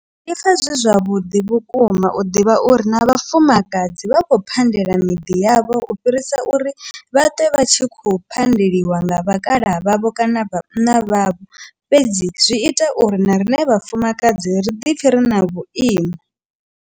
Ndi pfha zwi zwavhuḓi vhukuma u ḓivha uri na vhafumakadzi vha khou phandela miḓi yavho u fhirisa uri vhaṱwe vha tshi khou phandeliwa nga vhakalaha vhavho kana vhana vhavho fhedzi zwi ita uri na riṋe vhafumakadzi ri ḓi pfhe ri na vhuimo.